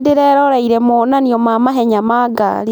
Nĩndĩreroreire monanio ma mahenya ma ngari